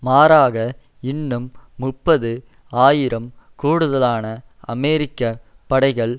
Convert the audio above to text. மாறாக இன்னும் முப்பது ஆயிரம் கூடுதலான அமெரிக்க படைகள்